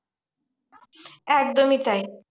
একদমই তাই।